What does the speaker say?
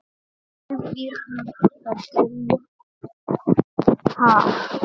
Elvíra Gýgja: Ha?